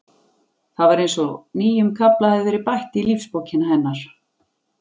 Það var eins og nýjum kafla hefði verið bætt í lífsbókina hennar.